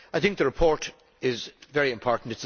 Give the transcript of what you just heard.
I think the report is very important.